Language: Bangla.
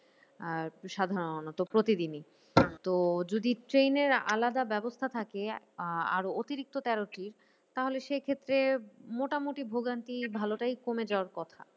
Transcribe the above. আহ সাধারণত প্রতিদিনই। তো যদি ট্রেনের আলাদা ব্যবস্থা থাকে আহ আরও অতিরিক্ত তেরোটি তাহলে সেইক্ষেত্রে মোটামুটি ভোগান্তি ভালোটাই কমে যাওয়ার কথা।